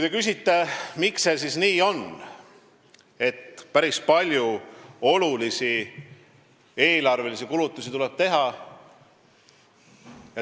Te küsite, miks see nii on, et päris palju tuleb olulisi eelarvelisi kulutusi teha.